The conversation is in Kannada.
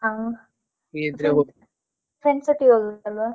ಹಾ friends ಒಟ್ಟಿಗೆ ಹೋಗ್ಬೇಕಲ್ವಾ.